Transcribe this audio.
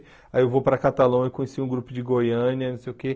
Aí eu vou para Catalão e conheci um grupo de Goiânia, não sei o quê.